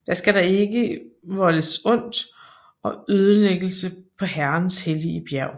Da skal der ikke voldes ondt og ødelæggelse på Herrens hellige bjerg